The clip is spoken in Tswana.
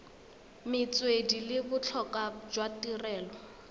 metswedi le botlhokwa jwa tirelo